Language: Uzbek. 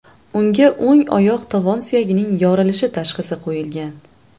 Unga o‘ng oyoq tovon suyagining yorilishi tashxisi qo‘yilgan.